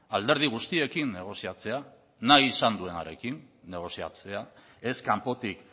alderdi guztiekin negoziatzea nahi izan duenarekin negoziatzea ez kanpotik